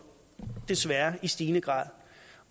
desværre og i stigende grad